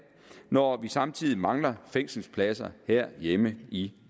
når vi samtidig mangler fængselspladser herhjemme i